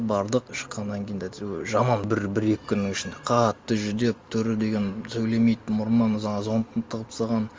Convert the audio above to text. бардық шыққаннан кейін де әйтеуір жаман бір екі күннің ішінде қатты жүдеп түрі деген сөйлемейді мұрнына жаңағы зондты тығып тастаған